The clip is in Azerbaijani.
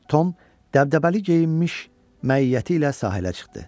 Tom dəbdəbəli geyinmiş məiyyəti ilə sahilə çıxdı.